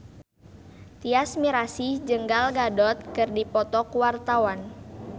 Tyas Mirasih jeung Gal Gadot keur dipoto ku wartawan